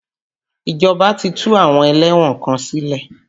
Ìjọba ti tú àwọn ẹlẹ́wọ̀n kan sílẹ̀.